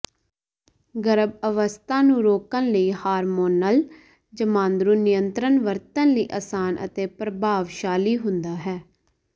ਗਰੱਭ ਅਵਸੱਥਾ ਨੂੰ ਰੋਕਣ ਲਈ ਹਾਰਮੋਨਲ ਜਮਾਂਦਰੂ ਨਿਯੰਤ੍ਰਣ ਵਰਤਣ ਲਈ ਆਸਾਨ ਅਤੇ ਪ੍ਰਭਾਵਸ਼ਾਲੀ ਹੁੰਦਾ ਹੈ